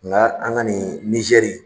Nka an ka nin nizɛri.